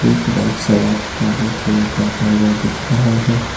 एक बाइक सवार आगे की ओर जाता हुआ दिख रहा है।